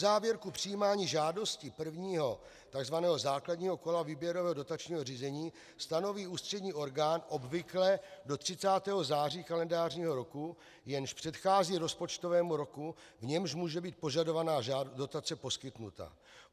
Uzávěrku přijímání žádostí prvního, tzv. základního kola výběrového dotačního řízení stanoví ústřední orgán obvykle do 30. září kalendářního roku, jenž předchází rozpočtovému roku, v němž může být požadovaná dotace poskytnuta.